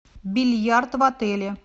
бильярд в отеле